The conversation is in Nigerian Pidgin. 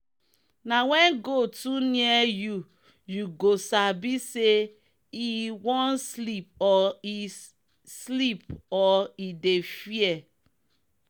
na when goat too near youyou go sabi say e one sleep or e sleep or e dey fear